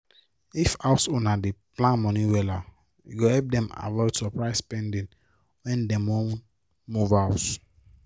if house owner dey plan moni wella e go help dem avoid surprise spending when dem wan move house